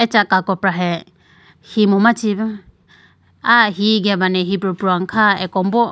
Acha kakopra he himu ma chibu aya hi gebane hipro pruwane kha akombo.